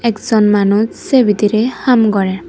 ekjon manuch se bidirey haam gorer.